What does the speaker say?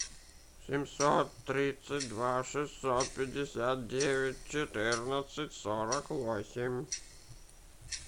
семьсот тридцать два шестьсот пятьдесят девять четырнадцать сорок восемь